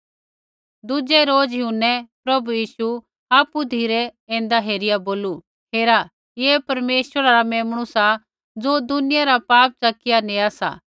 दुज़ै रोज़ यूहन्नै प्रभु यीशु आपु धिरै ऐन्दा हेरिया बोलू हेरा ऐ परमेश्वरा रा गौभू मेम्णु सा ज़ो दुनिया रा पाप च़किया नेया सा